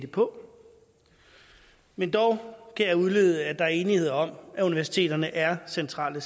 på men dog kan jeg udlede at der er enighed om at universiteterne er centrale